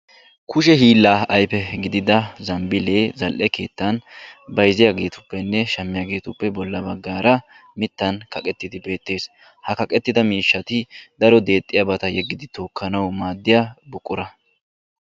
Kushe hilla ayfe gidida zambille zal'ee keettan bayzziyagetuppene shamiyagetuppe bolla baggara mittan kaqqetdi betees. Ha kaqqetida miishshati daro dexxiyabata yegidi tokkanawu maadiya buqura.